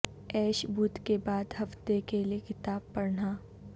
ایش بدھ کے بعد ہفتہ کے لئے کتاب پڑھنا